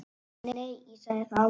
Nei, ég sagði það aldrei.